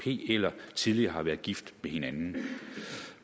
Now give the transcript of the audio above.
eller at de tidligere har været gift med hinanden